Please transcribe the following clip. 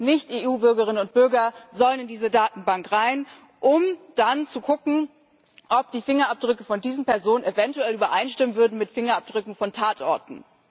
Alle Nicht EU Bürgerinnen und Bürger sollen in diese Datenbank hinein, um dann zu schauen, ob die Fingerabdrücke von diesen Personen eventuell übereinstimmen mit Fingerabdrücken von Tatorten.